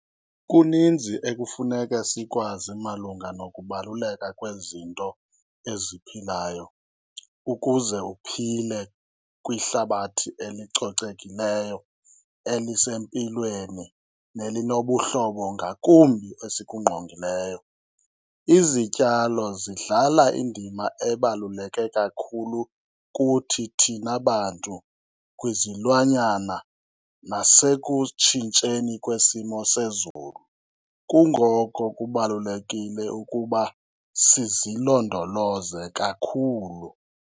Kuninzi ekufuneke sikwazi malunga nokubaluleka kwezinto eziphilayo ukuze uphile kwihlabathi elicocekileyo elisempilweni nelinobuhlobo ngakumbi esikungqongileyo. Izityalo zidlala indima ebaluleke kakhulu kuthi thina bantu, kwizilwanyana nasekutshintsheni kwesimo sezulu, kungoko kubalulekile ukuba sizilondoloze kakhulu.